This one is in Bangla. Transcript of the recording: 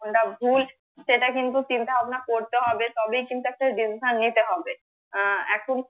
কোনটা ভুল সেটা কিন্তু চিন্তা ভাবনা করতে হবে তবেই কিন্তু একটা decision নিতে হবে আহ এখন